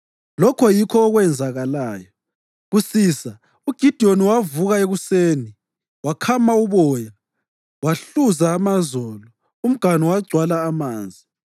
Lokho yikho okwenzakalayo. Kusisa uGidiyoni wavuka ekuseni wakhama uboya wahluza amazolo, umganu wagcwala amanzi.